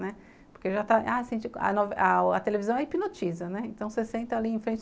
Né, porque a televisão é hipnotiza, então você senta ali em frente.